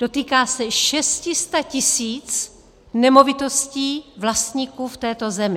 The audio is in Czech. Dotýká se 600 tisíc nemovitostí, vlastníků v této zemi.